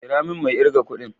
Kira min mai irga kudin.